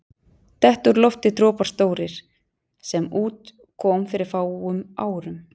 Detta úr lofti dropar stórir, sem út kom fyrir fáum árum.